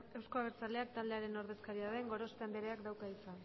euzko abertzaleak taldearen ordezkaria den gorospe andereak dauka hitza